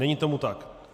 Není tomu tak.